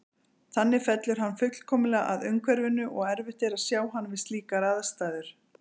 Þannig fellur hann fullkomlega að umhverfinu og erfitt er að sjá hann við slíkar aðstæður.